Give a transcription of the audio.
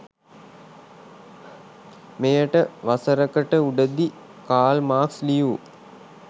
මෙයට වසරකට උඩදී කාල් මාක්ස් ලියූ